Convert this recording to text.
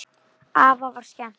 Afa var skemmt.